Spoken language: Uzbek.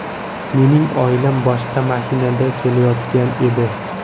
Mening oilam boshqa mashinada kelayotgan edi.